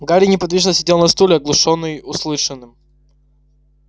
гарри неподвижно сидел на стуле оглушённый услышанным